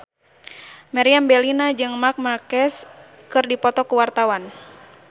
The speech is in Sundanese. Meriam Bellina jeung Marc Marquez keur dipoto ku wartawan